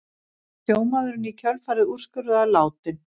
Var sjómaðurinn í kjölfarið úrskurðaður látinn